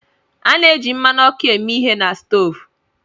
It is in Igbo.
A na-eji mmanụ ọkụ eme ihe na stoovu